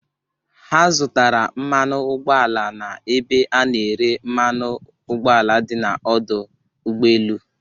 Ha zụtara mmanụ ụgbọ ala n'ebe a na-ere mmanụ ụgbọala dị n'ọdụ ụgbọ elu.